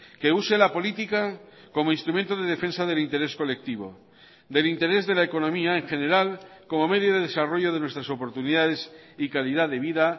que use la política como instrumento de defensa del interés colectivo del interés de la economía en general como medio de desarrollo de nuestras oportunidades y calidad de vida